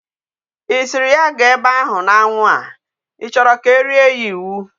I sịrị ya gaa ebe ahu n'anwu a? I choro ka erie ya iwu.